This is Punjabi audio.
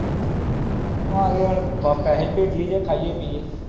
ਅੱਗੇ ਹੁਣ ਭੇਜੀਏ ਜਾ ਖਾਈਏ ਪਿਇਏ